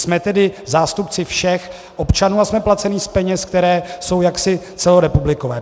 Jsme tedy zástupci všech občanů a jsme placeni z peněz, které jsou jaksi celorepublikové.